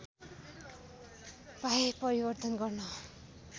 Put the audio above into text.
पाए परिवर्तन गर्न